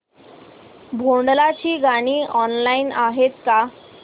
भोंडला ची गाणी ऑनलाइन आहेत का